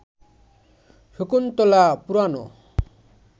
শকুন্তলা পুরানো